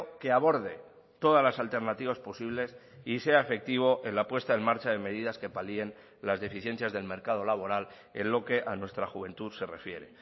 que aborde todas las alternativas posibles y sea efectivo en la puesta en marcha de medidas que palien las deficiencias del mercado laboral en lo que a nuestra juventud se refiere